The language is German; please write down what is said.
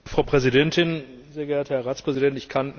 Frau Präsidentin, sehr geehrter Herr Ratspräsident!